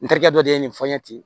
N terikɛ dɔ de ye nin fɔ n ye ten